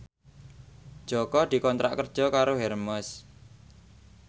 Jaka dikontrak kerja karo Hermes